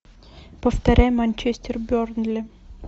повторяй манчестер бернли